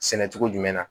Sɛnɛ cogo jumɛn na